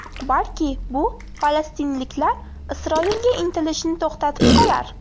Balki bu falastinliklar Isroilga intilishini to‘xtatib qolar.